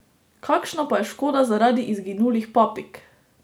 Kakšna pa je škoda zaradi izginulih papig?